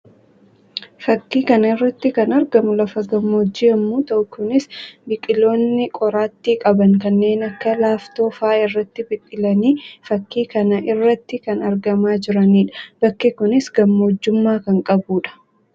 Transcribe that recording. Fakkii kana irratti kan argamu lafa gammoojjii yammuu ta'u; kunis biqiloonni qoraattii qaban kanneen akka laaftoo fa'aa irratti biqilanii fakkii kana irratti kan argamaa jiranii dha. Bakki kunis gammoojjummaa kan qabuu dha.